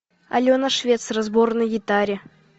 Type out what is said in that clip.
алена швец разбор на гитаре